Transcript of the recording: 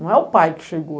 Não é o pai que chegou.